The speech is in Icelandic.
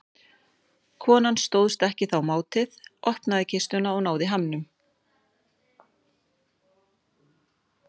Konan stóðst þá ekki mátið, opnaði kistuna og náði hamnum.